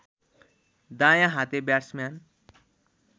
दायाँ हाते ब्याट्सम्यान